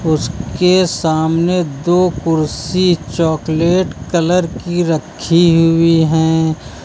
उसके सामने दो कुर्सी चॉकलेट कलर की रखी हुई हैं।